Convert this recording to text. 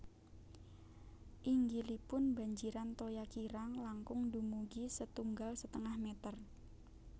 Inggilipun banjiran toya kirang langkung dumugi setunggal setengah meter